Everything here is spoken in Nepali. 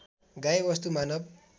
गाई वस्तु मानव